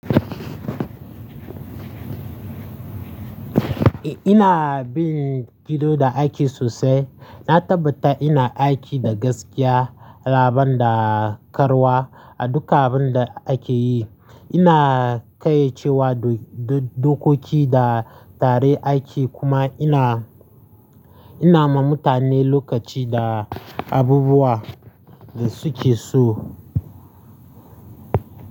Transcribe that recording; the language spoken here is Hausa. Ina bin gido da aiki sosai. Na tabbata ina aiki da gaskiya, alaban da karuwa a duka abin da ake yi. Ina ƙayyacewa dokoki da tsare aiki kuma ina, ina ma mutane lokaci da abubuwan da suke so.